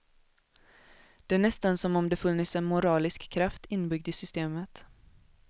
Det är nästan som om det funnes en moralisk kraft inbyggd i systemet.